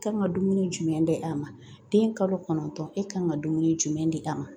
Kan ka dumuni jumɛn di a ma den kalo kɔnɔntɔn e ka kan ka dumuni jumɛn di a ma